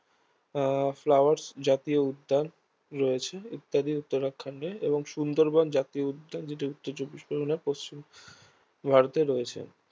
আহ flowers জাতীয় উদ্যান রয়েছে ইত্যাদি উত্তরাখণ্ডে এবং সুন্দরবন জাতীয় উদ্যান যেটা উত্তর চব্বিশ পরগনার পশ্চিমবঙ্গ ভারতে রয়েছে